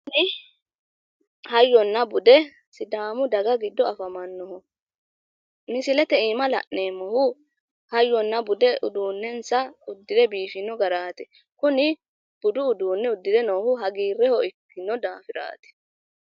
Tini hayyonna bude sidaamu daga giddo afamannoho. Misilete iima la'neemmohu hayyonna bude uduunnensa uddire biifino garaati. Kuni budu uduunne uddire biifinohu hagiirre ikkino daafiraati